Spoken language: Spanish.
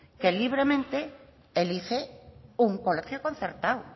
que libremente elige un colegio concertado